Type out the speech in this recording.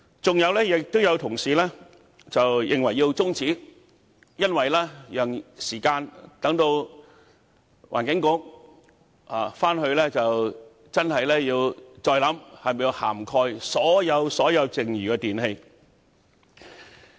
此外，有同事認為有需要中止辯論，好讓環境局再認真考慮是否需要涵蓋所有剩餘的電器類別。